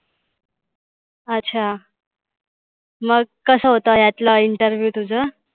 अच्छा मग कसा होता यातला interview तुझंं?